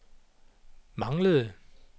manglede